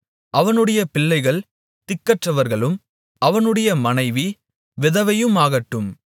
அவனுடைய பிள்ளைகள் திக்கற்றவர்களும் அவனுடைய மனைவி விதவையுமாகட்டும்